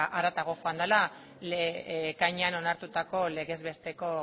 haratago joan dala ekainean onartutako legez besteko